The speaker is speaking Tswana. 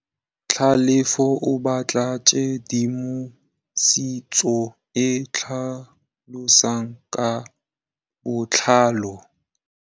Tlhalefô o batla tshedimosetsô e e tlhalosang ka botlalô.